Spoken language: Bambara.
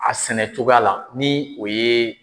A sɛnɛ cogoya la ni o ye